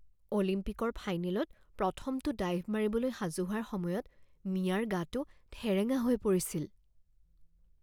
অলিম্পিকৰ ফাইনেলত প্ৰথমটো ডাইভ মাৰিবলৈ সাজু হোৱাৰ সময়ত মিয়াৰ গাটো ঠেৰেঙা হৈ পৰিছিল